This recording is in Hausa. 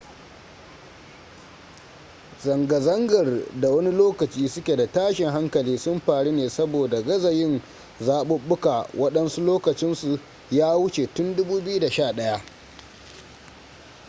zanga-zangar da wani lokaci suke da tashin hankali sun faru ne saboda gaza yin zaɓuɓɓuka waɗansu lokacinsu ya wuce tun 2011